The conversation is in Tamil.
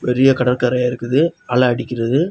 பெரிய கடற்கரையா இருக்குது அலை அடிக்கிறது.